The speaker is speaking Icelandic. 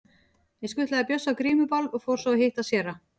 Ég skutlaði Bjössa á grímuball og fór svo að hitta séra